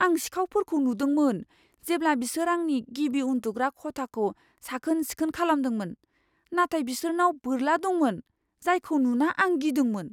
आं सिखावफोरखौ नुदोंमोन, जेब्ला बिसोर आंनि गिबि उन्दुग्रा खथाखौ साखोन सिखोन खालामदोंमोन, नाथाय बिसोरनाव बोरला दंमोन जायखौ नुना आं गिदोंमोन।